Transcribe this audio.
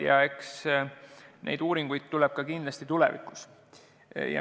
Ja eks neid tuleb kindlasti tulevikus veel.